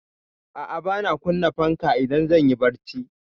A'a, bana kunna fanka idan zan yi barci.